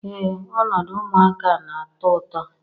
Ee noodu ụmụaka na-atọ ụtọ